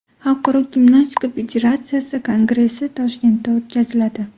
Xalqaro gimnastika federatsiyasi Kongressi Toshkentda o‘tkaziladi.